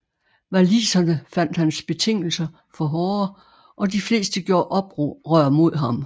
Waliserne fandt hans betingelser for hårde og de fleste gjorde oprør mod ham